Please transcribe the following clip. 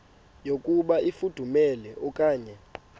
yokuba ifudumele okanye